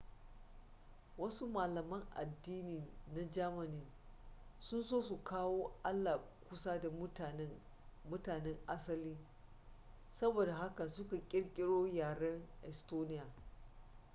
wasu malaman addini na germany sun so su kawo allah kusa da mutanen asali saboda haka suka kirkiro yaren estonia